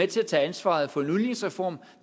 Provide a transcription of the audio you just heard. til at tage ansvaret for en udligningsreform